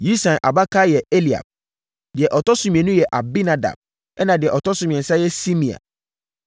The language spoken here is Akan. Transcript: Yisai abakan yɛ Eliab. Deɛ ɔtɔ so mmienu yɛ Abinadab ɛnna deɛ ɔtɔ so mmiɛnsa yɛ Simea.